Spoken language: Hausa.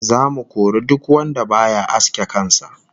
Zamu kori duk wanda baya aske kan sa